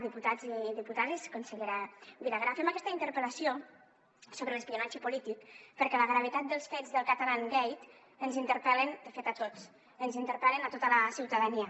diputats i diputades consellera vilagrà fem aquesta interpel·lació sobre l’espionatge polític perquè la gravetat dels fets del catalangate ens interpel·la de fet a tots ens interpel·la a tota la ciutadania